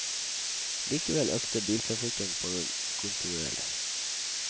Likevel økte biltrafikken på den kontinuerlig.